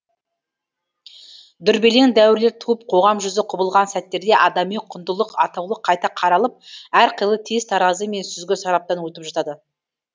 дүрбелең дәуірлер туып қоғам жүзі құбылған сәттерде адами құндылық атаулы қайта қаралып әрқилы тез таразы мен сүзгі сараптан өтіп жатады